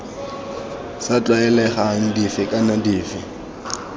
sa tlwaelegang dife kana dife